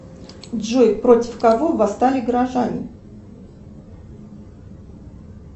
джой против кого восстали горожане